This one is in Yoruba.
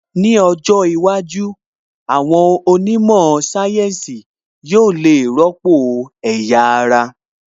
Ní ọjọ́ iwájú, àwọn onímọ̀ sáyẹ́ǹsì yóò le rọ́pò ẹ̀yà ara